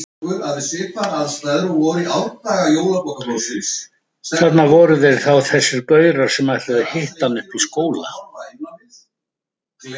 Þarna voru þeir þá þessir gaurar sem ætluðu að hitta hann uppi í skóla!